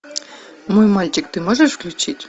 мой мальчик ты можешь включить